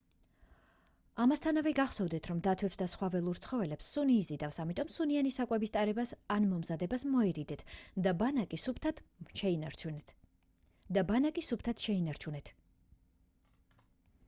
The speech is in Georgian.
ამასთანავე გახსოვდეთ რომ დათვებს და სხვა ველურ ცხოველებს სუნი იზიდავს ამიტომ სუნიანი საკვების ტარებას ან მომზადებას მოერიდეთ და ბანაკი სუფთად შეინარჩუნეთ